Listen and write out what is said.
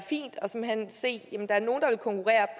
se